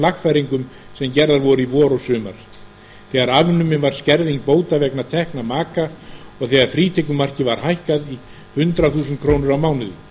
lagfæringum sem gerðar voru í vor og sumar þegar afnumin var skerðing bóta vegna tekna maka og þegar frítekjumarkið var hækkað í hundrað þúsund krónur á mánuði